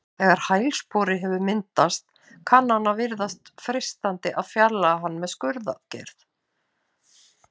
Þegar hælspori hefur myndast kann að virðast freistandi að fjarlægja hann með skurðaðgerð.